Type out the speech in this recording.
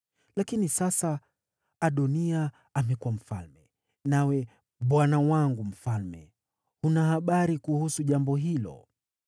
Lakini sasa Adoniya amekuwa mfalme, nawe, bwana wangu mfalme huna habari kuhusu jambo hilo.